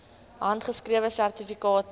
handgeskrewe sertifikate